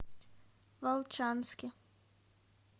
волчанске